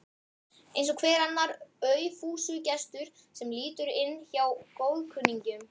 Eins og hver annar aufúsugestur sem lítur inn hjá góðkunningjum.